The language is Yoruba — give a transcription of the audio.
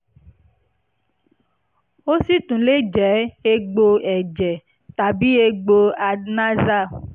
ó sì tún lè jẹ́ egbò ẹ̀jẹ̀ tàbí egbò adenexal